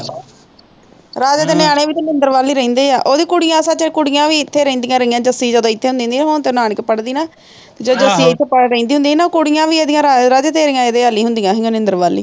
ਰਾਜੇ ਦੇ ਨਿਆਣੇ ਵੀ ਤਾ ਨੀਂਦਰ ਵੱਲ ਹੀ ਰਹਿੰਦੇ ਆ ਓਹਦੀ ਕੁੜੀਆਂ ਸੱਚ ਕੁੜੀਆਂ ਵੀ ਇਥੇ ਰੇਹਦੀਆ ਰਹੀਆਂ ਜੱਸੀ ਜਦੋ ਇਥੇ ਹੁੰਦੀ ਹੁੰਦੀ ਸੀ ਹੁਣ ਤੇ ਨਾਨਕੇ ਪੜ੍ਹਦੀ ਨਾ ਜਦੋ ਇਥੇ ਰਹਿੰਦੀ ਹੁੰਦੀ ਸੀ ਕੁੜੀਆਂ ਵੀ ਰਾਜੇ ਤੇਰੇ ਇਹਦੇ ਵੱਲ ਹੀ ਹੁੰਦੀਆਂ ਸੀ ਨੀਂਦਰ ਵੱਲ ਹੀ